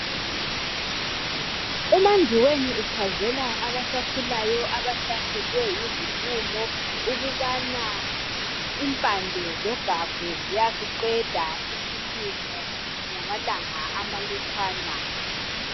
uMandiweni uchazela abasakhulayo abahlaselwe yizilumo ukubana impande zogagu ziyasiqela isilumo ngamalanga amalutshwana